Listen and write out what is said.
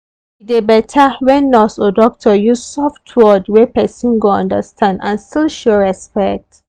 e dey better when nurse or doctor use soft word wey person go understand and still show respect.